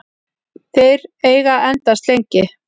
Þeir eiga að endast lengi.